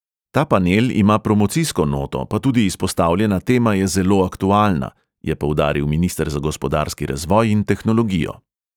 "Ta panel ima promocijsko noto, pa tudi izpostavljena tema je zelo aktualna," je poudaril minister za gospodarski razvoj in tehnologijo.